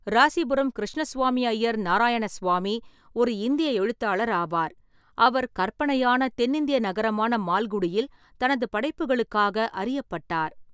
ராசிபுரம் கிருஷ்ணசுவாமி ஐயர் நாராயணசுவாமி ஒரு இந்திய எழுத்தாளர் ஆவார், அவர் கற்பனையான தென்னிந்திய நகரமான மால்குடியில் தனது படைப்புகளுக்காக அறியப்பட்டார்.